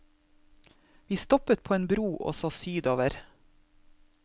Vi stoppet på en bro og så sydover.